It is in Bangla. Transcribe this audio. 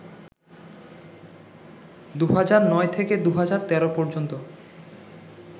২০০৯ থেকে ২০১৩ পর্যন্ত